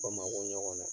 Bamakɔ ɲɔgɔn na